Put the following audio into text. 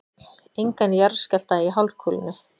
Engan jarðskjálfta í hálfkúlunni.